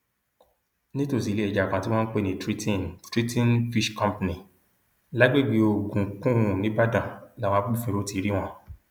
nítòsí iléẹja kan tí wọn ń pè ní triton triton fish company lágbègbè ogun kunn nìbàdàn làwọn agbófinró ti rí wọn